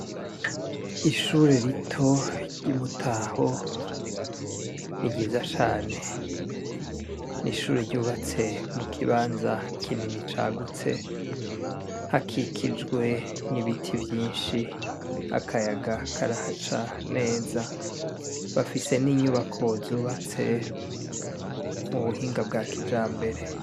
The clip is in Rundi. Ishure rito ry'Imutaho ni ryiza cane . N'ishure ryubatse mu kibanza kinini cagutse hakikijwe n'ibiti vyinshi akayaga karahaca neza , bafise n'inyubako zubatse mu buhinga bwa kijambere .